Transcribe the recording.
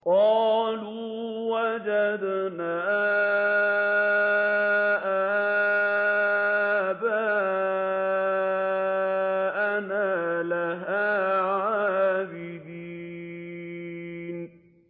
قَالُوا وَجَدْنَا آبَاءَنَا لَهَا عَابِدِينَ